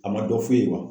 A ma dɔ f'u ye wa